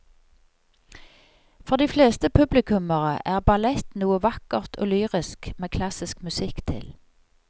For de fleste publikummere er ballett noe vakkert og lyrisk med klassisk musikk til.